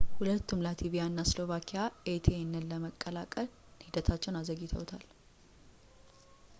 ሁለቱም ላትቪኣ እና ስሎቫኪያ ኤሲቲኤን የመቀላቀል ሂደታቸውን አዘግይተውታል